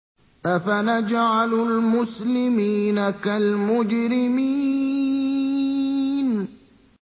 أَفَنَجْعَلُ الْمُسْلِمِينَ كَالْمُجْرِمِينَ